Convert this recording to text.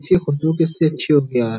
इसकी खुशबू कितनी अच्छी होती है यार ।